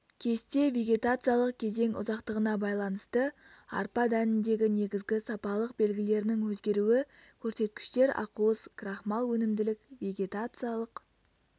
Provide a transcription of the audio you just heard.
кесте вегетациялық кезең ұзақтығына байланысты арпа дәніндегі негізгі сапалық белгілерінің өзгеруі көрсеткіштер ақуыз крахмал өнімділік вегетациялық